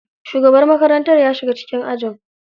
Shugaban makarantar ya shiga cikin ajin.